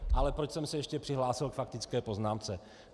Ale proč jsem se ještě přihlásil k faktické poznámce.